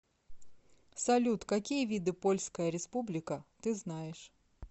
салют какие виды польская республика ты знаешь